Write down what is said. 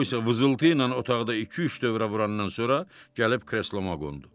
O vızıltı ilə otaqda iki-üç dövrə vurandan sonra gəlib kresloma qondu.